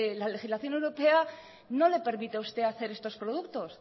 la legislación europea no le permite a usted hacer estos productos